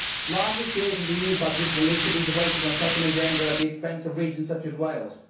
Larger shares of the EU budget will need to be devoted to such an agenda at the expense of regions such as Wales.